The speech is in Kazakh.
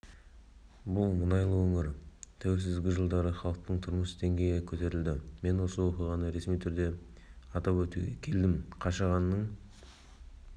бұл мұнайлы өңір тәуелсіздікжылдары халықтың тұрмыс деңгейі көтерілді мен осы оқиғаны ресми атап өтуге келдім қашағанның